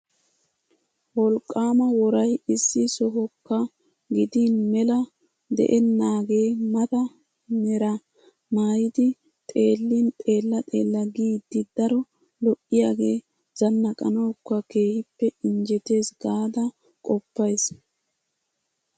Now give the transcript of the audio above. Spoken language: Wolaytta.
Wolqqaama woray issi sohokka gidin mela de'ennaagee mata meraa maayidi xeellin xeella xeella giidi daro lo"iyagee zannaqanawukka keehippe injjetees gaada qoppays.